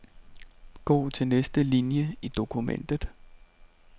Gå til næste linie i dokumentet.